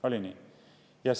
Oli nii?